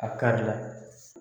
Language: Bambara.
A karila